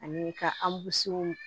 Ani ka an busanw